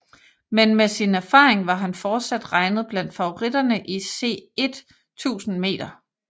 Men med sin erfaring var han fortsat regnet blandt favoritterne i C1 1000 m